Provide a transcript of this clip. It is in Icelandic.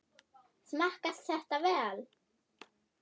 Smakkast þetta vel?